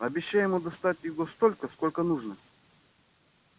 обещай ему достать его столько сколько нужно